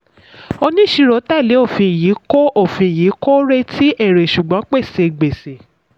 oníṣirò tẹ̀lé òfin yìí kò òfin yìí kò retí èrè ṣùgbọ́n pèsè gbèsè.